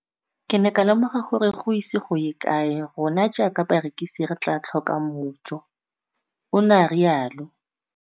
Ke ne ka lemoga gore go ise go ye kae rona jaaka barekise re tla tlhoka mojo, o ne a re jalo.